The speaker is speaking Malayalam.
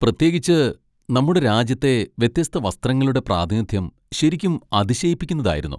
പ്രത്യേകിച്ച്, നമ്മുടെ രാജ്യത്തെ വ്യത്യസ്ത വസ്ത്രങ്ങളുടെ പ്രാതിനിധ്യം ശരിക്കും അതിശയിപ്പിക്കുന്നതായിരുന്നു.